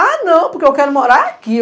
Ah, não, porque eu quero morar aqui.